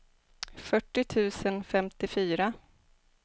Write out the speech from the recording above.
fyrtio tusen femtiofyra